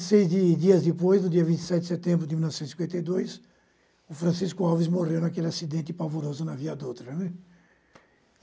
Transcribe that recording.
E, seis dias depois, no dia vinte e sete de setembro de mil novecentos e cinquenta e dois, o Francisco Alves morreu naquele acidente pavoroso na Via Doutra.